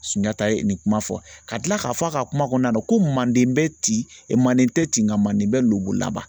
Sunjata ye nin kuma fɔ ka kila k'a fɔ a ka kuma kɔnɔna na, ko manden bɛ ti manden tɛ ti nka manden bɛ lobon laban